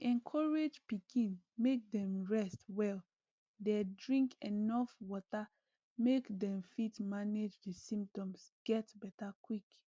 dem dey encourage pikin make dem rest well dey drink enuf water make dem fit manage di symptoms get beta quick